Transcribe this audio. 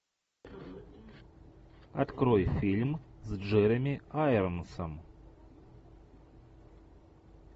открой фильм с джереми айронсом